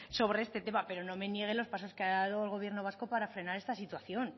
sobre este tema pero no me niegue los pasos que ha dado el gobierno vasco para frenar esta situación